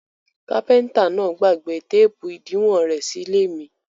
Kápẹ́ńtà náà gbàgbé téépù ìdiwọn rẹ̀ sí ilé mi.